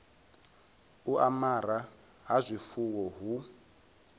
u amara ha zwifuwo hu